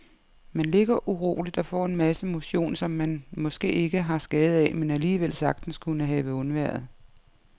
Man ligger uroligt og får en masse motion, som man måske ikke har skade af, men alligevel sagtens kunne have undværet.